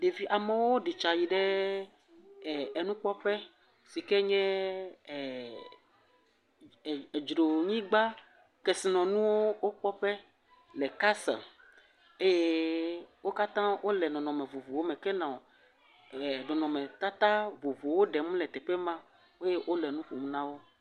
Ɖevi amewo ɖi tsa yi ɖe e enukpɔƒe si ke nye e edzronyigba kesinɔnuwo wo kpɔƒe le castel eye wo katã wo le nɔ nɔnɔme vovovowo me ke nɔ nɔnɔmetata vovovowo ɖem le teƒe ma eye wole nuƒom na wo.